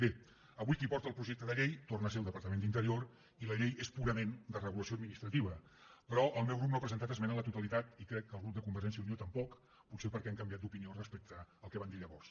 bé avui qui porta el projecte de llei torna a ser el departament d’interior i la llei és purament de regulació administrativa però el meu grup no ha presentat esmena a la totalitat i crec que el grup de convergència i unió tampoc potser perquè han canviat d’opinió respecte al que van dir llavors